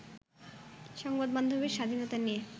সংবাদ মাধ্যমের স্বাধীনতা নিয়ে